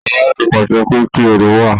Ọba tí pàṣẹ pé kí orò wa